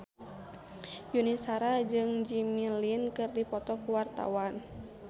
Yuni Shara jeung Jimmy Lin keur dipoto ku wartawan